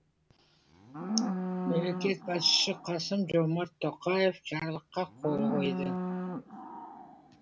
мемлекет басшысы қасым жомарт тоқаев жарлыққа қол қойды